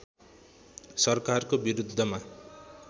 सरकारको बिरुद्धमा